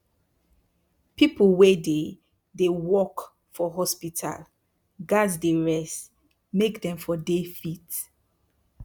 pipu wey dey dey work for hospital gats dey rest make dem for dey fit